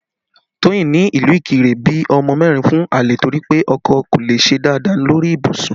Toyin ní ìlú Ikire bí ọmọ mẹ́rin fún àlè torí pé ọkọ kò le ṣe dáadáa lórí ibùsùn